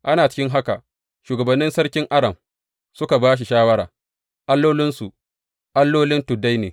Ana cikin haka, shugabannin sarkin Aram suka ba shi shawara, Allolinsu, allolin tuddai ne.